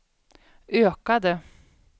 ökade